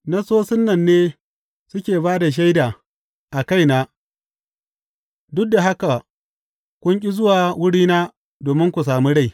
Nassosin nan ne suke ba da shaida a kaina, duk da haka kun ƙi zuwa wurina domin ku sami rai.